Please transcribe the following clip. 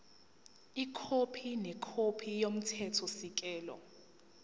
ikhophi nekhophi yomthethosisekelo